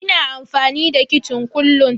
Ina amfani da kicin kullun.